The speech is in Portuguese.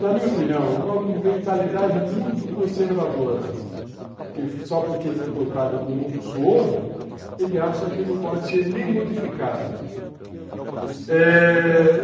Na minha opinião, uma mentalidade muito conservadora, que só porque foi comprado com muito suor, ele acha que não pode ser nem modificado.